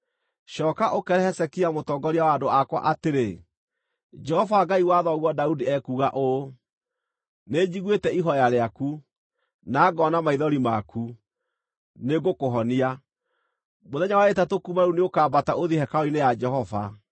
“Cooka, ũkeere Hezekia mũtongoria wa andũ akwa atĩrĩ, ‘Jehova Ngai wa thoguo Daudi ekuuga ũũ: Nĩnjiguĩte ihooya rĩaku, na ngoona maithori maku; nĩngũkũhonia. Mũthenya wa ĩtatũ kuuma rĩu nĩũkambata ũthiĩ hekarũ-inĩ ya Jehova.